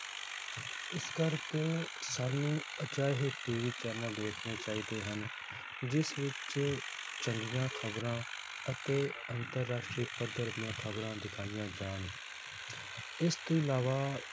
ਇਸ ਕਰਕੇ ਸਾਨੂੰ ਅਜਿਹੇ TV channel ਦੇਖਣੇ ਚਾਹੀਦੇ ਹਨ ਜਿਸ ਵਿਚ ਚੰਗੀਆਂ ਖਬਰਾਂ ਅਤੇ ਅੰਤਰ-ਰਾਸ਼ਟਰੀ ਪੱਧਰ ਦੀਆਂ ਖਬਰਾਂ ਦਿਖਾਈਆਂ ਜਾਣ ਇਸ ਤੋਂ ਅਲਾਵਾ